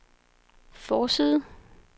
forside